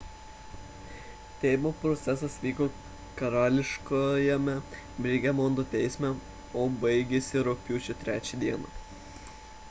teismo procesas vyko karališkajame birmingemo teisme o baigėsi rugpjūčio 3 d